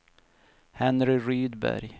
Henry Rydberg